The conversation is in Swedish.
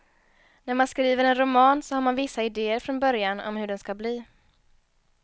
När man skriver en roman så har man vissa idéer från början om hur den ska bli.